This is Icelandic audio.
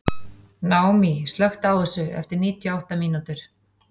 Naomí, slökktu á þessu eftir níutíu og átta mínútur.